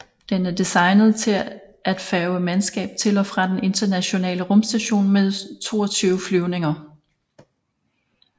Den er designet til at færge mandskab til og fra den Internationale Rumstation med 22 flyvninger